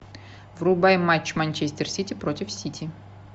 врубай матч манчестер сити против сити